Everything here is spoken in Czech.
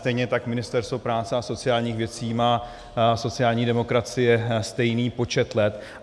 Stejně tak Ministerstvo práce a sociálních věcí má sociální demokracie stejný počet let.